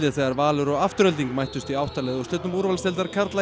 þegar Valur og Afturelding mættust í átta liða úrslitum úrvalsdeildar karla